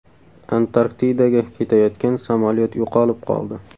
Antarktidaga ketayotgan samolyot yo‘qolib qoldi.